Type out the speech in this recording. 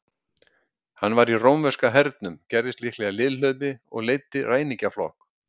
Hann var í rómverska hernum, gerðist líklega liðhlaupi og leiddi ræningjaflokk.